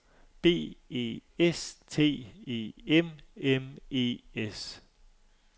B E S T E M M E S